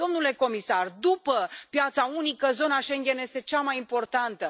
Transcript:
Domnule comisar, după piața unică, zona Schengen este cea mai importantă.